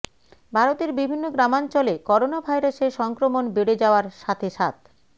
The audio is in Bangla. ভারতের বিভিন্ন গ্রামাঞ্চলে করোনাভাইরাসের সংক্রমণ বেড়ে যাওয়ার সাথে সাথ